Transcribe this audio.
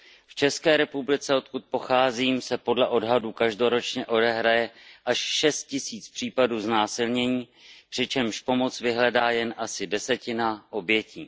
V České republice, odkud pocházím, se podle odhadů každoročně odehraje až šest tisíc případů znásilnění, přičemž pomoc vyhledá jen asi desetina obětí.